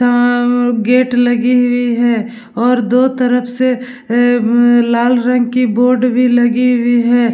यहां मम गेट लगी हुई है और दो तरफ से ऐऐ बब लाल रंग की बोर्ड भी लगी हुई है।